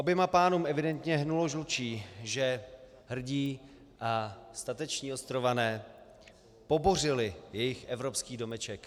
Oběma pánům evidentně hnulo žlučí, že hrdí a stateční ostrované pobořili jejich evropský domeček.